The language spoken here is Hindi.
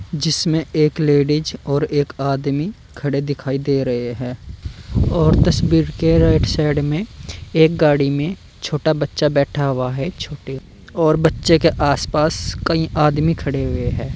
जिसमें एक लेडिस और एक आदमी खड़े दिखाई दे रहे है और तस्वीर के राइट साइड में एक गाड़ी में छोटा बच्चा बैठा हुआ है छोटे और बच्चे के आसपास कई आदमी खड़े हुए हैं।